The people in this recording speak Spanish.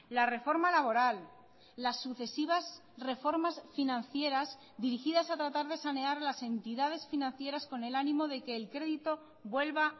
la reforma laboral las sucesivas reformas financieras dirigidas a tratar de sanear las entidades financieras con el ánimo de que el crédito vuelva